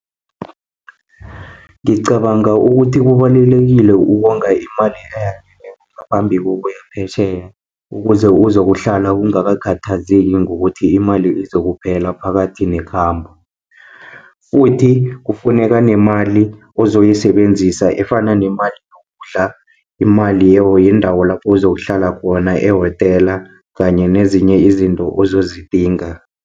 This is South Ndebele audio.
Ngicabanga ukuthi kubalulekile ukonga imali ngaphambi kokuya phesheya, ukuze uzokuhlala ungakhathazeki ngokuthi imali izokuphela phakathi nekhambo. Futhi kufuneka nemali ozoyisebenzisa efana nemali yokudla, imali yendawo lapho uzokuhlala khona ehotela kanye nezinye izinto ozozidinga.